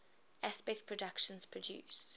aspect productions produced